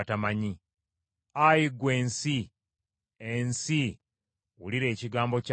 Ayi ggwe ensi, ensi, wulira ekigambo kya Katonda!